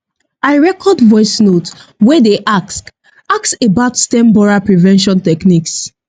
i record voice note wey dey ask ask about stem borer prevention techniques